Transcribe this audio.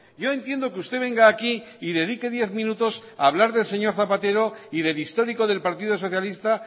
yo entiendo que usted venga aquí y dedique diez minutos a hablar del señor zapatero y del histórico del partido socialista